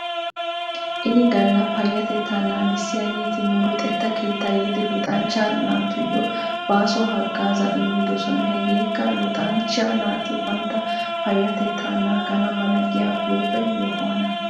Ini gala payatetta naagissiyaageeti nu luxetta keetta yiidi luxanchcha naatuyyo baaso hagaazaa immidosona hegeekka luxanchch naati bantta payyatettaa naagana mala giyaa huuphe yohuwaana.